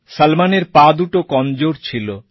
সলমনের পা দুটো কমজোর ছিল